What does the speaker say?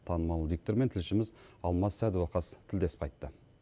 танымал диктормен тілшіміз алмас сәдуақас тілдесіп қайтты